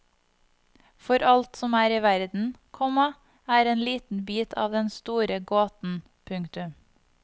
For alt som er i verden, komma er en liten bit av den store gåten. punktum